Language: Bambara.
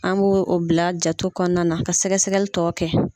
An b'o o bila jate kɔnɔna na ka sɛgɛsɛgɛli tɔgɔ kɛ.